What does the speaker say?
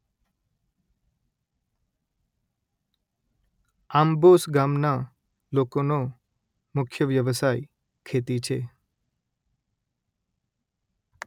આંબોસ ગામના લોકોનો મુખ્ય વ્યવસાય ખેતી છે